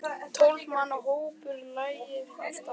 Tólf manna hópur lagði af stað.